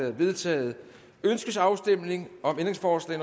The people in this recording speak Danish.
er vedtaget ønskes afstemning om ændringsforslag